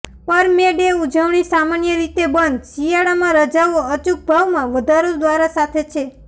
પર May Day ઉજવણી સામાન્ય રીતે બંધ શિયાળામાં રજાઓ અચૂક ભાવમાં વધારો દ્વારા સાથે છે